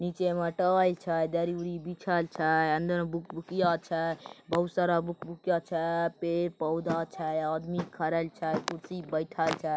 नीचे मे टॉय छै दरी उड़ी बिछल छै अंदर में भूकभुकिया छै बहुत सारा भूकभुकिया छै पेड़ पौधा छै आदमी कुर्सी बैइएठे छै।